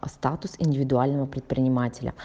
статус индивидуального предпринимателя